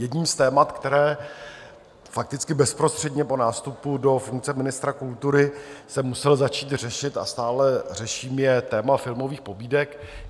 Jedním z témat, které fakticky bezprostředně po nástupu do funkce ministra kultury jsem musel začít řešit a stále řeším, je téma filmových pobídek.